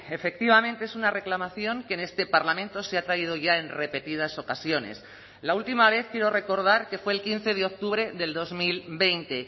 efectivamente es una reclamación que en este parlamento se ha traído ya en repetidas ocasiones la última vez quiero recordar que fue el quince de octubre del dos mil veinte